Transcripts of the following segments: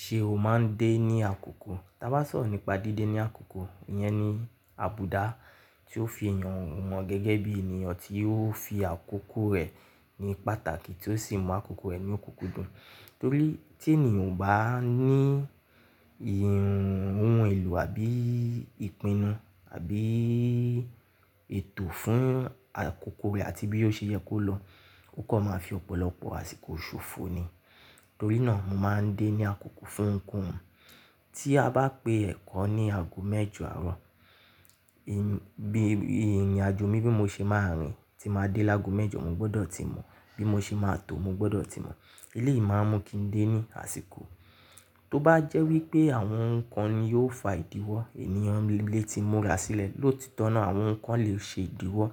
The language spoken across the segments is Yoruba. Ṣé o máa ń dé ní àkókò? Tí a bá sọ̀rọ̀ nípa díde ní àkókò, ìyẹn ni àbùdá tí ó fi èèyàn hàn gẹ́gẹ́ bí ènìyàn tí ó fi àkókò rẹ̀ ní pàtàkì tí ó sì mú àkókò rẹ̀ ní òkùnkùndun Torí tí ènìyàn ò bá ní ìhun ohun èlò àbí ìpinnu àbí ètò fún àkókò rẹ̀ àti bí yóò ṣe yẹ kó lọ, ó kan máa fi ọ̀pọ̀lọpọ̀ àsìkò ṣòfò ni. Torí náà mo máa ń dé ní àkókò fún ohunkohun. Tí a bá pé ẹ̀kọ́ ní ago mẹ́jọ àárọ̀, ìrìnàjò mi bí mo ṣe máa rìn tí màá dé lágo mẹ́jọ mo gbọ́dọ̀ tí mọ̀, bí mo ṣe máa tò mo gbọ́dọ̀ tí mọ̀. Eléyìí máa ń mú kí n dé ní àsìkò. Tó bá jẹ́ wípé àwọn oun kán ni yóò fa ìdíwọ́ ènìyàn lè ti múra sílẹ̀, lótitọ́ náà àwọn nkán le ṣe ìdíwọ́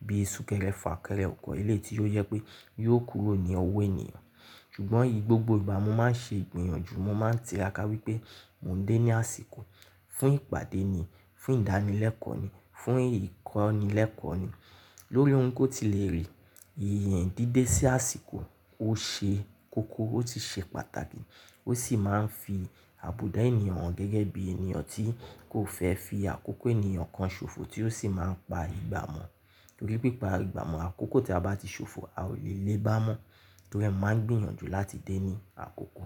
bí i súnkẹrẹ fà kẹrẹ, ọ̀kọ̀ eléyìí tí ó jẹ pé yóò kúrò ní ọwọ́ ènìyàn. Ṣùgbọ́n igbogbo ìgbà mo máa ń ṣe ìgbìyànjú, mo máa ń tiraka wípé mo ń dé ní àsìkò. Fún ìpàdé ni, fún ìdánilẹ́kọ̀ọ́ ni, fún ìkọ́nilẹ́kọ̀ọ́ ni. Lórí ohun ko ó ti lè rí, ìyèn díde sí àsìkò ó ṣe kókó, ó ti ṣe pàtàkì, ó sì máa ń fi àbùdá ènìyàn hàn gẹ́gẹ́ bí ènìyàn tí kò fẹ́ fi àkókò ènìyàn kan ṣòfò tí ó sì máa ń pa ìgbà mọ́. Torí pé pa ìgbà mọ́ àkókò tí a bá ti ṣòfò a ò lè lé bá mọ́. Torí ẹ mo máa ń gbìyànjú láti dé ní àkókò.